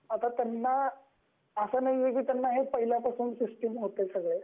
आता अस नाही आहे की त्यांना पहिले पासूनच सिस्टम होत हे सगळ